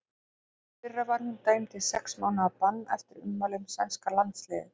Í fyrra var hún dæmd í sex mánaða bann eftir ummæli um sænska landsliðið.